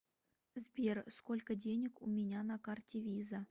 сбер сколько денег у меня на карте виза